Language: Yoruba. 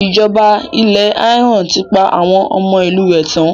Ìjọba ilẹ̀ Iran ti pa àwọn ọmọ ìlú rẹ̀ tán.